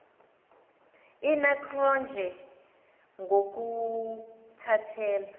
ina cronje ngokuthathela